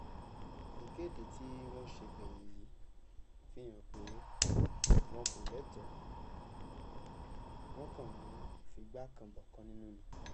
ikede ti wọn ṣe gbẹyin yi fi han pe wọn ko lẹtọ, wọn kan n figba kan bọkan ninu ni